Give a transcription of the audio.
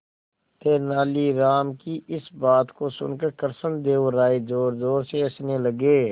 तेनालीराम की इस बात को सुनकर कृष्णदेव राय जोरजोर से हंसने लगे